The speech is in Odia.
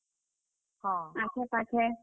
ଆଖେ, ପାଖେ।